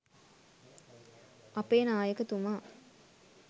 අපේ නායකතුමා